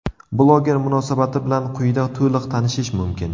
Bloger munosabati bilan quyida to‘liq tanishish mumkin.